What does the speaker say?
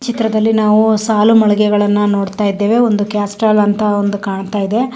ಚಿತ್ರದಲ್ಲಿ ನಾವು ಸಾಲು ಮಳಿಗೆಗಳನ್ನ ನೋಡ್ತಾ ಇದ್ದೇವೆ. ಒಂದು ಕಾಸ್ರ್ಟೋಲ್ ಅಂತ ಒಂದು ಕಾಣ್ತಾ ಇದೆ .